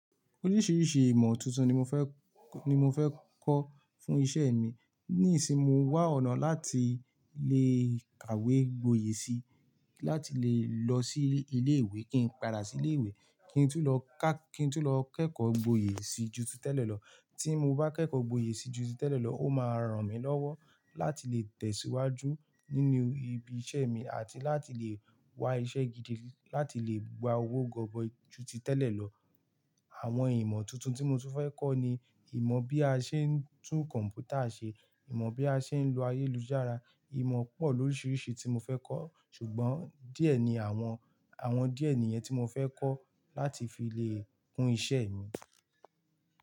Oríṣiríṣi ìmọ̀ tuntun ni mo fẹ́, ni mo fẹ́ kọ́ fún iṣẹ́ mi. Nísin mo n wà ọ̀nà láti le kàwé gboyè si láti le lọ sí ilé ìwé kí n pada sí ilé ìwé, kí n tú lọ kí n tún lọ kẹ́kọ̀ọ́ gboyè sí ju ti tẹ́lẹ̀ lọ. Tí mo bá kẹ́kọ̀ọ́ gboyè sí ju ti tẹ́lẹ̀ lọ, ó máa ràn mí lọ́wọ́ láti lè tẹ̀síwájú nínú ibi iṣẹ́ mi àti láti lè wá iṣẹ́ gidi láti lè gba owó gọbọi ju ti tẹ́lẹ̀ lọ. Àwọn ìmọ̀ tuntun tí mo tún fẹ́ kọ́ ni ìmọ̀ bí a ṣe ń tún kọ̀m̀pútà ṣe, ìmọ̀ bí a ṣe ń lo ayélujára, ìmọ̀ pọ̀ lóríṣiríṣi tí mo fẹ́ kọ́ ṣùgbọ́n díẹ̀ ni àwọn, àwọn díẹ̀ nìyẹn tí mo fẹ́ kọ́ láti fi lè kun iṣẹ́ mi.